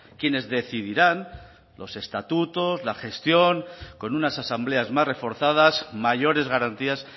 quienes decidirán los estatutos la gestión con unas asambleas más reforzadas mayores garantías